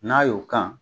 N'a y'o kan